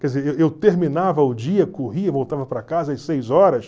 Quer dizer, eu eu terminava o dia, corria, voltava para casa às seis horas,